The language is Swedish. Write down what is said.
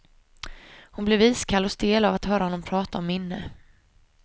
Hon blev iskall och stel av att höra honom prata om minne.